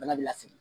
Bana bɛ lasigi